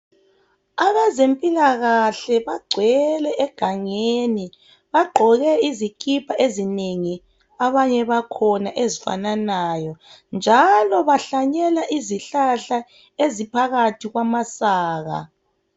Abezempilakahle bagcwele egangeni bagqoke izikipa ezinengi abanye bakhona ezifananayo njalo bahlanyela izihlahla eziphakathi kwamasaka.